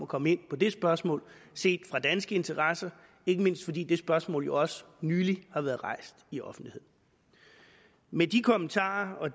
komme ind på det spørgsmål set fra danske interesser ikke mindst fordi det spørgsmål jo også nylig har været rejst i offentligheden med de kommentarer og